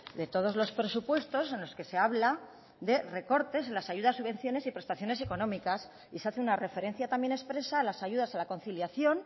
de todos los presupuestos en los que se habla de recortes en las ayudas subvenciones y prestaciones económicas y se hace una referencia también expresa a las ayudas a la conciliación